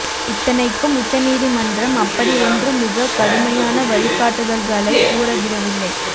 இத்தனைக்கும் உச்சநீதிமன்றம் அப்படி ஒன்றும் மிகக் கடுமையான வழிகாட்டுதல்களைக் கூறி விடவில்லை